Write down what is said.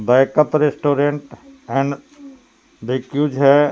Backup restaurant and because हैं.